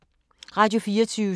Radio24syv